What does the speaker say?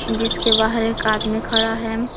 जिसके बाहर एक आदमी खड़ा है।